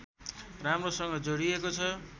राम्रोसँग जोडिएको छ